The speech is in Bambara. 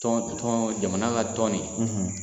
Tɔn tɔn jamana ka tɔn nin,